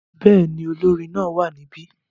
Bẹ́ẹ̀ ni, olórin náà wà níbí.